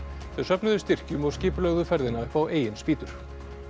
þau söfnuðu styrkjum og skipulögðu ferðina upp á eigin spýtur